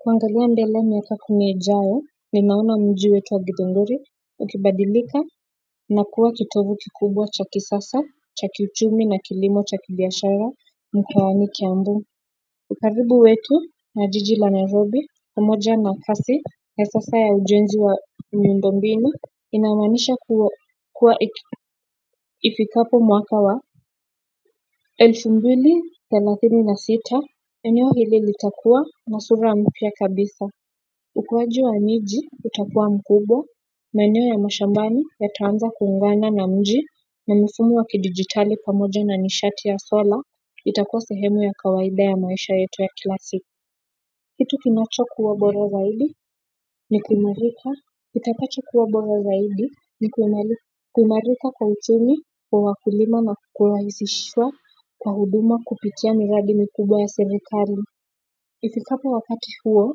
Kuangalia mbele miaka kumi injayo ninaona mji wetu wa githuguri ukibadilika na kuwa kitobu kikubwa cha kisasa cha kiuchumi na kilimo cha kibiashara mkowani kiambu ukaribu wetu na jiji la narobi pamoja na ukasi ya sasa ya ujenzi wa miundo mbinu inamanisha kuwa ifikapo mwaka wa elfu mbili thelatini na sita eneo hili litakua na sura mpya kabisa ukuwaji wa miji, utakua mkubwa, maeneo ya mashambani yataanza kuungana na mji na mfumo wa kidigitali pamoja na nishati ya sola, itakuwa sehemu ya kawaida ya maisha yetu ya kila siku. Kitu kinacho kuwa bora zaidi ni kuimarika, itapata kuwa bora zaidi ni kuimarika kwa uchumi, kwa wakulima na kurahisishiwa kwa huduma kupitia miradi mkubwa ya serekali. Ifikapo wakati huo,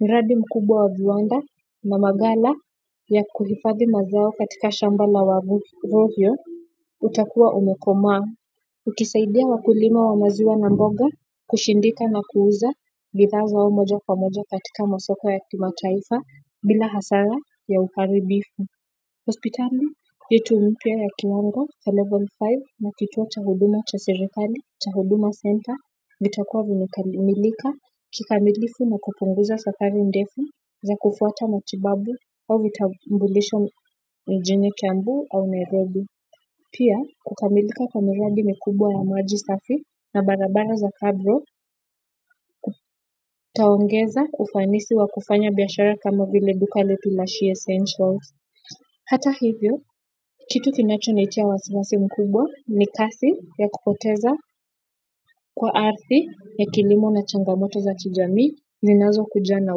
miradi mkubwa wa viwanda na magala ya kuhifadhi mazao katika shamba la wavovyo utakuwa umekoma. Ukisaidia wakulima wa maziwa na mboga kushindika na kuuza vizao zao moja kwa moja katika masoko ya kimataifa bila hasara ya uharibifu hospitali yetu mpya ya kiwango cha level five na kituo cha huduma cha serekali cha huduma center vitakuwa vimemilika kikamilifu na kupunguza safari ndefu za kufuata matibabu au vitambulisho mjini kiambu au nairobi pia kukamilika kwa miradimikubwaya maji safi na barabara za cabro kutaongeza ufanisi wa kufanya biashara kama vile duka letu la she essentials hata hivyo, kitu kinacho nitia wasiwasi mkubwa ni kasi ya kupoteza kwa ardhi ya kilimo na changamoto za kijamii zinazo kuja na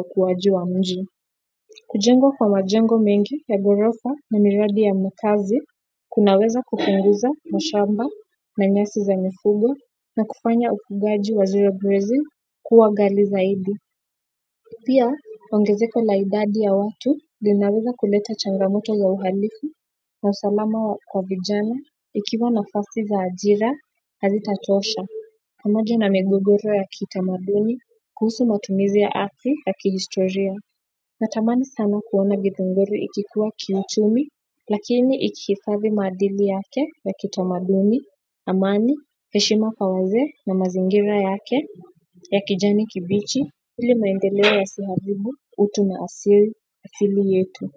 ukuwaji wa mji. Kujengwa kwa majengo mengi ya gorofa na miradi ya makazi, kunaweza kupunguza mashamba na nyasi za mifugo na kufanya ufugaji wa zero grazing kuwa ghali zaidi. Pia, ongezeko la idadi ya watu, linaweza kuleta changamoto za uhalifu, na usalama kwa vijana, ikiwa nafasi za ajira, hazitatosha. Pamoja na migogoro ya kitamaduni, kuhusu matumizi ya ardhi ya kihistoria. Natamani sana kuona githunguru ikikuwa kiuchumi, lakini ikihifadhi maadili yake ya kitamaduni, amani, heshima kwa wazee na mazingira yake, ya kijani kibichi ile maendeleo yasiharibu utu na asili yetu.